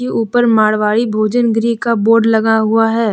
ऊपर मारवाड़ी भोजन गृह का बोड लगा हुआ है।